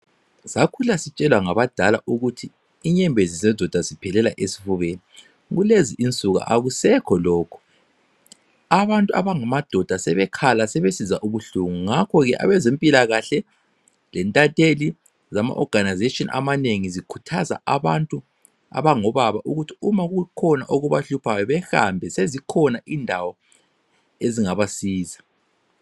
Sakhula sitshelwa ngabadala ukuthi inyembezi zendoda ziphelela esifubeni. Kulezi insuku akusekho lokho, abantu abangamadoda sebekhala sebesizwa ubuhlungu, ngakhoke abezempilakahle, lentatheli lama organisation amanengi zikhuthaza abantu abangobaba ukuthi uma kukhona okubahluphayo bahambe sezikhona indawo ezingabasiza.